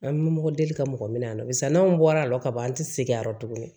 An bɛ mɔgɔ deli ka mɔgɔ minɛ an na barisa n'anw bɔra a la ka ban an tɛ segin a yɔrɔ tuguni